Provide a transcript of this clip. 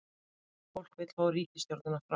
Andri: Fólk vill ríkisstjórnina frá?